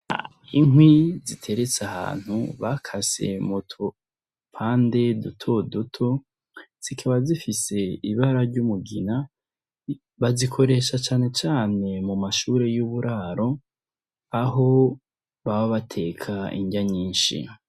Inkwi ziteretse ahantu bakase mudupande dutoduto zikaba zifise ibara ry'umugina bazikoresha cane cane mumashure y'uburaro, aho baba bateka inrya nyinshi.